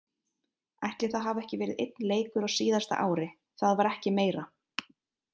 Ætli það hafi ekki verið einn leikur á síðasta ári, það var ekki meira.